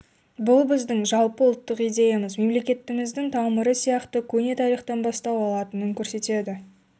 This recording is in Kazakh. бұл біздің жалпы ұлттық идеямыз мемлекеттігіміздің тамыры сияқты көне тарихтан бастау алатынын көрсетеді